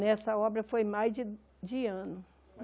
Nessa obra foi mais de de ano.